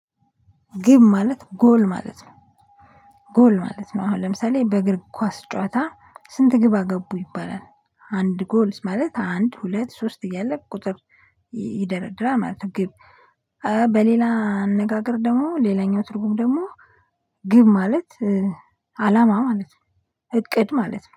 ግብ ማለት ጎል ማለት ነው ጎል ማለት ነው አሁን ለምሳሌ በእግር ኳስ ጨዋታ ስንት ግብ አገቡ ይባላል። አንድ ጎል ማለት አንድ ሁለት ሶስት እያለ ቁጥር ይደረድራ ማለት ነው። ግብ። በሌላ አነጋገር ደግሞ ሌላኛው ትርጉም ደግሞ ግብ ማለት አላማ ማለት ነው። እቅድ ማለት ነው